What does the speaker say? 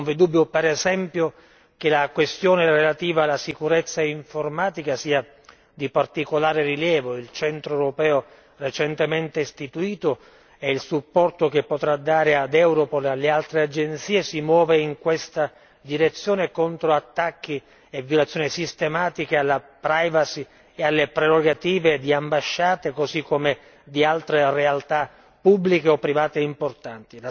Non vi è dubbio per esempio che la questione relativa alla sicurezza informatica sia di particolare rilievo, il centro europeo recentemente istituito e il supporto che potrà dare a Europol e ad altre agenzie si muovono in questa direzione, contro attacchi e violazioni sistematiche alla privacy e alle prerogative di ambasciate così come di altre realtà pubbliche o private importanti.